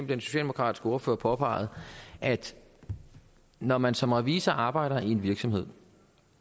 den socialdemokratiske ordfører påpegede at når man som revisor arbejder i en virksomhed